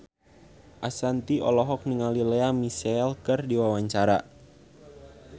Ashanti olohok ningali Lea Michele keur diwawancara